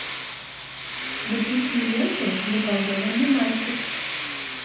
запусти ленту заколдованный мальчик